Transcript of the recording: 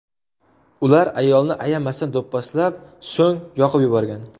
Ular ayolni ayamasdan do‘pposlab, so‘ng yoqib yuborgan.